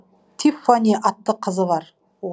тиффани атты қызы бар